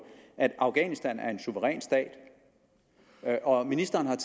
at afghanistan er en suveræn stat og ministeren